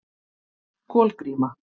Kolgríma